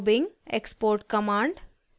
* export command export command